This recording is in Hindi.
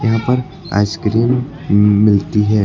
यहाँ पर आइसक्रीम मिलती है।